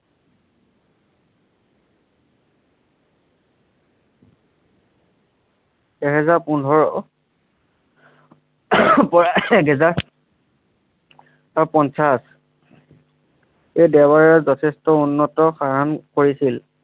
এহেজাৰ পোন্ধৰ এহেজাৰ অ পঞ্চাছ এই দেৱাৰৰ যথেষ্ট উন্নত কাম কৰিছিল।